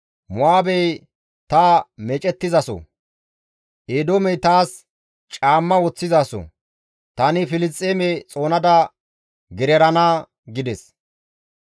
Mo7aabey ta meecettizaso; Eedoomey taas caamma woththizaso; tani Filisxeeme xoonada gererana» gides.